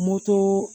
Moto